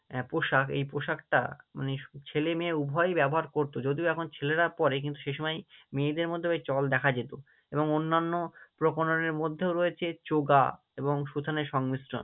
আহ পোশাক এই পোশাকটা মানে ছেলে-মেয়ে উভয়ই ব্যবহার করতো, যদিও এখন ছেলেরা পরে কিন্তু সে সময় মেয়েদের মধ্যেও এর চল দেখা যেত এবং অন্যান্য প্রকরণের মধ্যেও রয়েছে চোগা এবং সুথানের সংমিশ্রণ